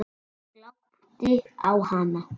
Ég glápti á hana.